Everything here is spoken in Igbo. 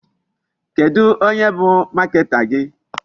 Kedụ onye bụ marketer gị?